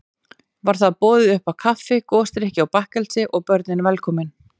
Var þar boðið uppá kaffi, gosdrykki og bakkelsi, og börnin velkomin.